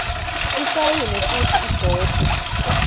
isayinwe futsi igcotjwe